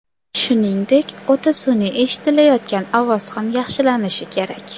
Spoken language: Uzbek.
Shuningdek, o‘ta sun’iy eshitilayotgan ovoz ham yaxshilanishi kerak.